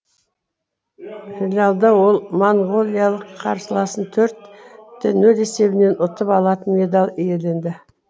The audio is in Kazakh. финалда ол моңғолиялық қарсыласын төртте нөл есебімен ұтып алатын медаль иеленді